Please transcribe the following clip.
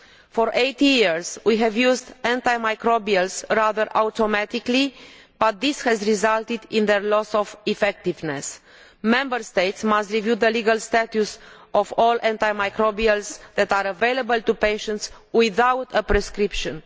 For eighty years we have used antimicrobials rather automatically, but this has resulted in their loss of effectiveness. Member States must review the legal status of all antimicrobials that are available to patients without a prescription.